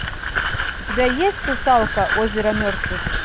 у тебя есть русалка озеро мертвых